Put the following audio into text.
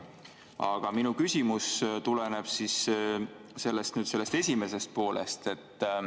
Aga minu küsimus tuleneb sellest esimesest poolest.